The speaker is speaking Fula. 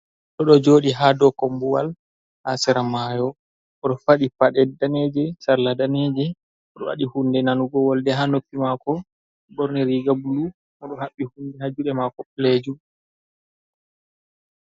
Goɗɗo ɗo jooɗi haa dow kombuwal, haa sera mayo. Oɗo faɗɗi paɗe daneeje sarla daneejum. Oɗo waɗi hunde nanugo wolde haa noppi maako, ɓorni riiga bulu. Oɗo haɓɓi hunde haa juuɗe maako ɓalejum.